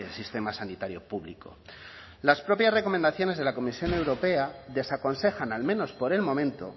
sistema sanitario público las propias recomendaciones de la comisión europea desaconsejan al menos por el momento